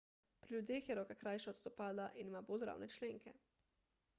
pri ljudeh je roka krajša od stopala in ima bolj ravne členke